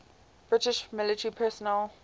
british military personnel